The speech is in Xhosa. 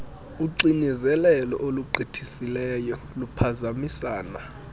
uxinezelelo olugqithisileyo luphazamisana